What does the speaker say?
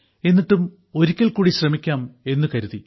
എന്നിട്ടും ഒരിക്കൽ കൂടി ശ്രമിക്കാം എന്നു കരുതി